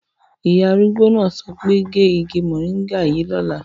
Ìyá arúgbó náà sọ pé "gé igi mòríngà yìí lọ́la"